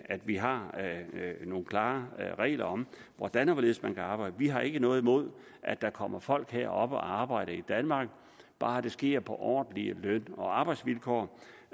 at vi har nogle klare regler om hvordan og hvorledes man kan arbejde vi har ikke noget imod at der kommer folk herop og arbejder i danmark bare det sker på ordentlige løn og arbejdsvilkår